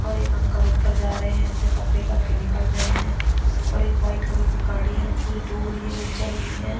और एक अंकल ऊपर जा रहे है अपने कपड़े करके निकल रहे है और व्हाईट कलर की गाड़ी है पूरी डूब रही है वो चल रही है।